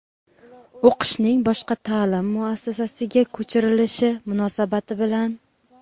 O‘qishning boshqa ta’lim muassasasiga ko‘chirilishi munosabati bilan;.